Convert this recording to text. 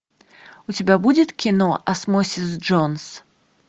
у тебя будет кино осмосис джонс